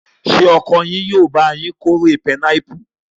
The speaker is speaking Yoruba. Ṣé ọkọ yín yóò bá yín kórè pinápù?